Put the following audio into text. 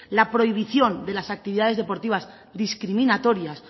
la prohibición de las actividades deportivas discriminatorias